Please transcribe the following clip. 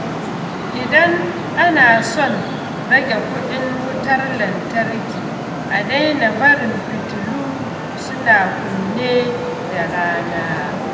Idan ana son rage kuɗin wutar lantarki, a daina barin fitilu suna kunne da rana.